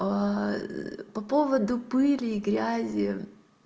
по поводу пыли и грязи